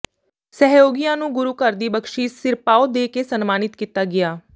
ਸਹਿਯੋਗੀਆਂ ਨੂੰ ਗੁਰੂ ਘਰ ਦੀ ਬਖਸ਼ਿਸ਼ ਸਿਰਪਾਓ ਦੇ ਕੇ ਸਨਮਾਨਤ ਕੀਤਾ ਗਿਆ